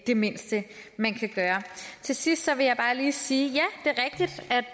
det mindste man kan gøre til sidst vil jeg bare lige sige